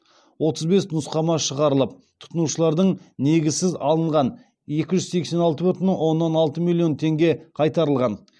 отыз бес нұсқама шығарылып тұтынушылардың негізсіз алынған екі жүз сексен алты бүтін оннан алты миллион теңге қайтарылған